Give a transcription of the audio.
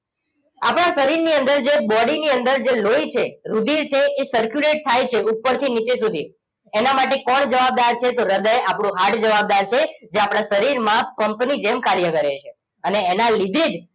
આપણા શરીરની અંદર જે body ની અંદર જે લોહી છે રુધિર છે એ circulate થાય છે ઉપરથી નીચે સુધી એને માટે કોણ જવાબદાર છે તો હૃદય આપણું heart જવાબદાર છે જે આપણા શરીરમાં પંપની જેમ કાર્ય કરે છે અને એના લીધે જ